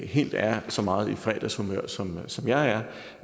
helt er så meget i fredagshumør som som jeg er